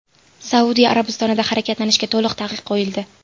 Saudiya Arabistonida harakatlanishga to‘liq taqiq qo‘yildi.